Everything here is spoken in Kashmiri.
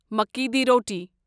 مکِی دِی روٹی